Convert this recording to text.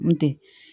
N tɛ